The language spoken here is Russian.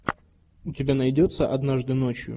у тебя найдется однажды ночью